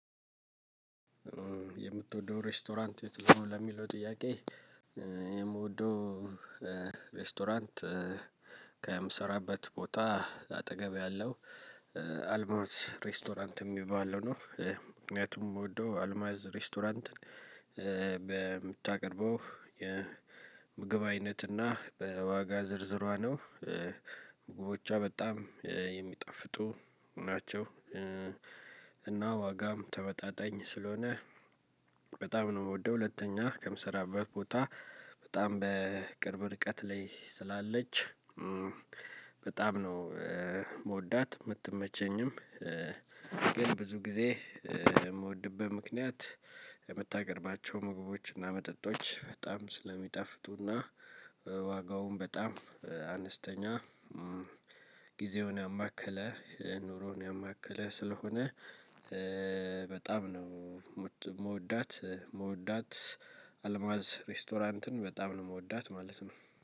የምቶደው ሬስቶራት የት ነው ለሚለው ጥያቄ? ሬስቶራንት ከምሰራበት ቦታ አጠገብ ያለው አልማዝ ሬስቶራንት የሚባለው ነው። ምክንያቱም የምወደው አልማዝ ሬስቶራንትን በምታቀርበው የምግብ አይነትና በዋጋ ዝርዝሯ ነው። ምግቦቿ በጣም የሚጠፍጡ ናቸው። እና ዋጋም ተመጣጣኝ ስለሆነ በጣም ነው የምወደው ሁለተኛ ከምሰራበት ቦታ በጣም በቅርብ ርቀት ላይ ስላለች። በጣም ነው የምወዳት የምትመቸኝም። ግን ብዙ ጊዜ የምወድብህ ምክንያት የምታቀርባቸው ምግቦች እና መጠጦች በጣም ስለሚጣፍጡና ዋጋውን በጣም አነስተኛ። ጊዜውን ያማከለ ኑሮውን ያማከለ ስለሆነ በጣም ነው። የምወዳት የምወዳት አልማዝ ሬስቶራንትን በጣም ነው የምወዳት ማለት ነው